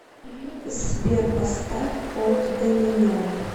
сбер поставь олд доминион